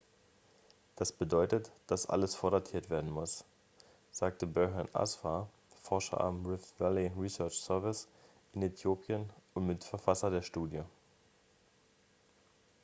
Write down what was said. das bedeutet dass alles vordatiert werden muss sagte berhane asfaw forscher am rift valley research service in äthiopien und mitverfasser der studie